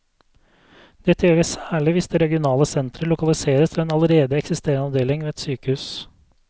Dette gjelder særlig hvis det regionale sentret lokaliseres til en allerede eksisterende avdeling ved et sykehus.